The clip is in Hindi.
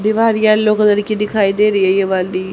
दीवार येलो कलर की दिखाई दे रही है ये वाली।